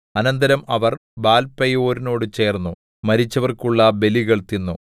അനന്തരം അവർ ബാൽപെയോരിനോട് ചേർന്നു മരിച്ചവർക്കുള്ള ബലികൾ തിന്നു